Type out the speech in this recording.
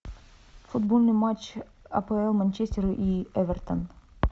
футбольный матч апл манчестер и эвертон